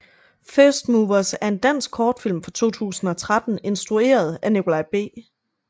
First Movers er en dansk kortfilm fra 2013 instrueret af Nikolaj B